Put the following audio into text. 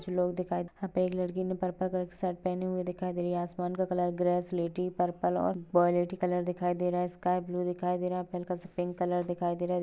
कुछ लोग दिखाई यहाँ पे एक लडकि ने पर्पल कलर कि शर्ट पेहनी हुई दिखाई दे रही है आसमान का कलर ग्रे सिलेटी पर्पल और दिखाई दे रहा है स्काय ब्लू दिखाई दे रहा है हलका सा पिंक कलर दिखाई दे रहा है।